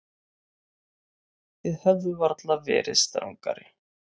Þið hefðuð varla verið strangari.